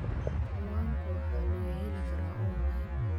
Cinwaanka waxaa laga heli karaa onlayn.